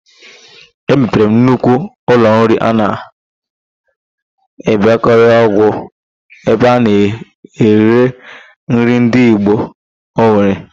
E mepere nnukwu ụlọnri a na-Ịbarịọgwa ebe a na-ere nri ndị ịgbo n'Owere.